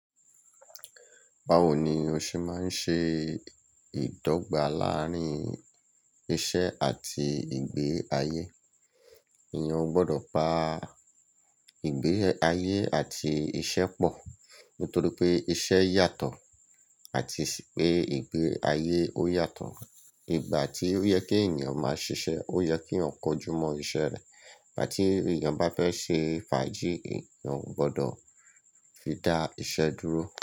Báwo ni o ṣe máa ń ṣe ìdọ́gba láàrin iṣẹ́ àti ìgbé ayé? Ènìyàn ò gbọdọ̀ pa ìgbé ayé àti iṣẹ́ pọ̀ nítorí pé iṣẹ́ yàtọ̀ àti pé ìgbé ayé ó yàtọ̀. Ìgbà tí ó yẹ kí ènìyàn máa ṣiṣẹ́ ó yẹ kí èèyàn kó ojú mọ́ iṣẹ́ rẹ̀. Ìgbà tí ènìyàn bá fẹ́ ṣe fàájì ènìyàn ò gbọdọ̀ fi dá iṣẹ́ dúró.